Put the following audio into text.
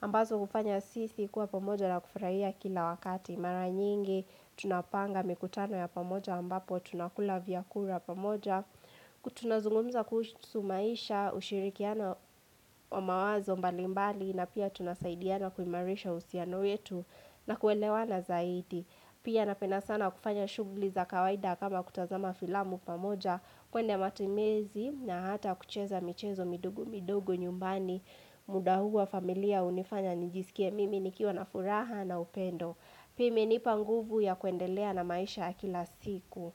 Ambazo hufanya sisi kuwa pamoja na kufurahia kila wakati. Mara nyingi, tunapanga mikutano ya pamoja ambapo tunakula vyakula pamoja. Tunazungumza kuhusu maisha, ushirikiano wa mawazo mbalimbali. Na pia tunasaidiana kuimarisha uhusiano wetu na kuelewana zaidi. Pia napenda sana kufanya shughuli za kawaida kama kutazama filamu pamoja kuenda matembezi na hata kucheza michezo midogo midogo nyumbani muda huu wa familia hunifanya nijisikie mimi nikiwa na furaha na upendo. Pia imenipa nguvu ya kuendelea na maisha ya kila siku.